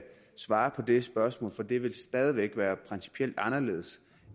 svare på det spørgsmål for det vil stadig væk være principielt anderledes